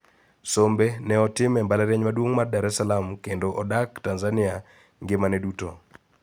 Sombe ne otimo e mbalariany maduong` mar Dar es Salaam kendo odak Tanzania ngima ne duto